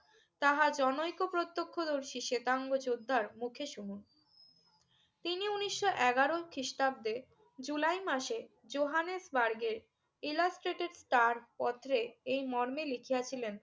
তাহা জনৈক প্রত্যক্ষদর্শী শেতাঙ্গযোদ্ধার মুখে শুনুন। তিনি ঊনিশো এগারো খ্রিস্টাব্দে জুলাই মাসে জোহানেসবার্গে ইলাস্ট্রেটেট ষ্টার পত্রে এই মর্মে লিখিয়াছিলেন